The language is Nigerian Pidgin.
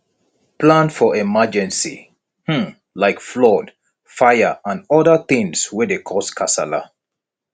plan for emergency um like flood fire and oda things wey dey cause kasala